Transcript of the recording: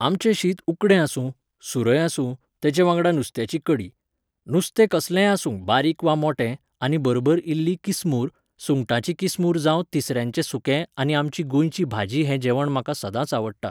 आमचें शीत उकडें आसूं ,सुरय आसूं तेचे वांगडा नुस्त्याची कडी. नुस्तें कसलेंय आसूं बारीक वा मोटें आनी बरबर इल्ली किसमूर, सुंगटांची किसमूर जांव तिसऱ्यांचें सुकें आनी आमची गोंयची भाजी हें जेवण म्हाका सदांच आवडटा